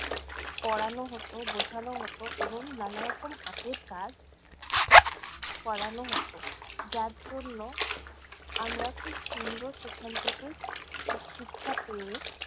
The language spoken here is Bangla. পড়ানো হত, বোঝানো হত এবং নানারকম হাতের কাজ করানো হত। যার জন্য, আমরা খুব সুন্দর সেখান থেকে শিক্ষা পেয়ে